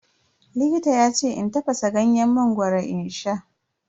Likita yace in tafasa ganyen mangoro in sha.